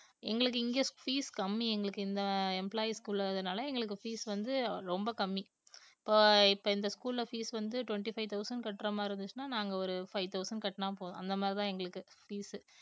எங்களுக்கு இங்க fees கம்மி எங்களுக்கு இந்த employees க்கு உள்ளதுனால எங்களுக்கு fees வந்து ரொம்ப கம்மி இப்ப இப்ப இந்த school ல fees வந்து twenty five thousand கட்டுற மாதிரி இருந்துச்சுன்னா நாங்க ஒரு five thousand கட்டுனா போதும் அந்த மாதிரிதான் எங்களுக்கு fees உ